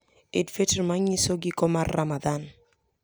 Eid al-Fitr, manyiso giko mar Ramadhan,